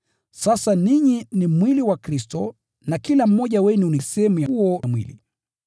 Sasa ninyi ni mwili wa Kristo na kila mmoja wenu ni sehemu ya huo mwili.